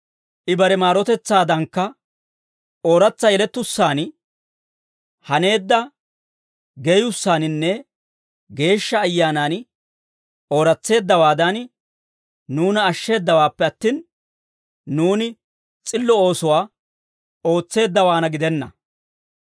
I bare maarotetsaadankka, ooratsa yelettussaan haneedda geeyyussaaninne Geeshsha Ayyaanan ooras's'eeddawan nuuna ashsheeddawaappe attin, nuuni s'illo oosuwaa ootseeddawaanna gidenna.